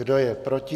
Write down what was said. Kdo je proti?